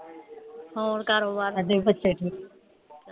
ਹੋਰ ਕਾਰੋਬਾਰ